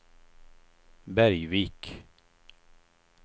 Bergvik